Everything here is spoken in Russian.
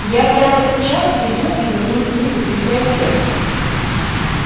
я прямо сейчас иду и верну книгу в библиотеку